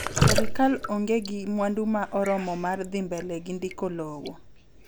serikal onge ki mwandu ma oromo mar dhi mbele gi ndiko lowo